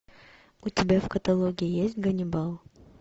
у тебя в каталоге есть ганнибал